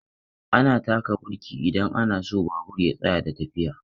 Ana taka birki idan ana so babur ya tsaya da tafiya.